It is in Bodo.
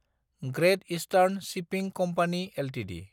ग्रेत इष्टार्न सिपिं कम्पानि एलटिडि